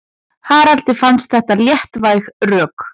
Haraldi finnst þetta léttvæg rök.